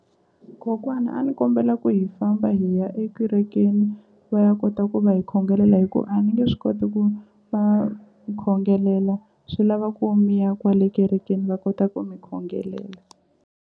Kokwana a ni kombela ku hi famba hi ya ekerekeni va ya kota ku va hi khongelela hi ku a ni nge swi koti ku va khongelela swi lava ku mi ya kwale kerekeni va kota ku mi khongelela.